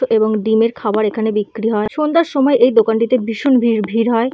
এবং ডিমের খাওয়ার এখানে বিক্রি হয়। সন্ধ্যার সময় এই দোকানটিতে ভীষণ ভি ভিড় হয়।